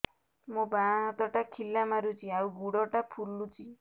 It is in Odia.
ମୋ ବାଆଁ ହାତଟା ଖିଲା ମାରୁଚି ଆଉ ଗୁଡ଼ ଟା ଫୁଲୁଚି